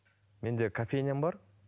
менде кофейням бар